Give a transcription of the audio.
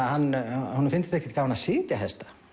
honum fyndist ekkert gaman að sitja hesta